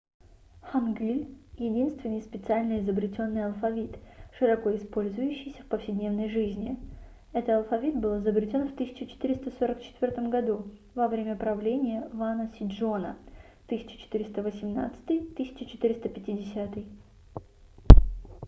хангыль — единственный специально изобретённый алфавит широко использующийся в повседневной жизни. это алфавит был изобретён в 1444 году во время правления вана сечжона 1418-1450